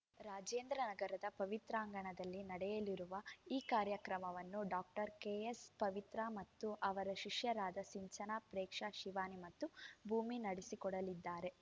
ರಾಜೇಂದ್ರ ನಗರದ ಪವಿತ್ರಾಂಗಣದಲ್ಲಿ ನಡೆಯಲಿರುವ ಈ ಕಾರ್ಯಕ್ರಮವನ್ನು ಡಾಕ್ಟರ್ ಕೆಎಸ್‌ ಪವಿತ್ರಾ ಮತ್ತು ಅವರ ಶಿಷ್ಯೆಯರಾದ ಸಿಂಚನಾ ಪ್ರೇಕ್ಷಾ ಶಿವಾನಿ ಮತ್ತು ಭೂಮಿ ನಡೆಸಿಕೊಡಲಿದ್ದಾರೆ